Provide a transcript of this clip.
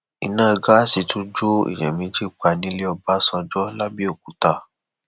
iná gáàsì tún jó èèyàn méjì pa nílẹ ọbànjọ làbẹòkúta